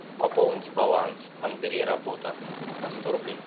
пополнить баланс андрей работа на сто рублей